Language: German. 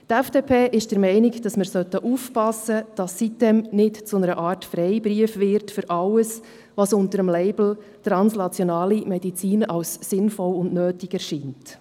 Die FDP ist der Meinung, wir sollten aufpassen, dass die sitem-insel nicht zu einer Art Freibrief für alles wird, was unter dem Label translationale Medizin als sinnvoll und nötig erscheint.